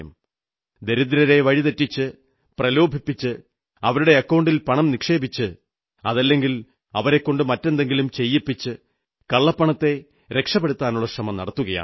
ദരിദ്രരെ വഴിതെറ്റിച്ച് പ്രലോഭിപ്പിച്ച് അവരുടെ അക്കൌണ്ടിൽപണം നിക്ഷേപിച്ച് അതല്ലെങ്കിൽ അവരെക്കൊണ്ട് മറ്റെന്തെങ്കിലും ചെയ്യിച്ച് കള്ളപ്പണത്തെ രക്ഷപ്പെടുത്താനുള്ള ശ്രമം നടത്തുകയാണ്